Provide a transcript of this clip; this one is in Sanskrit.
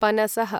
पनसः